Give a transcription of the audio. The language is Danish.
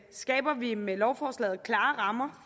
skaber vi med lovforslaget klare rammer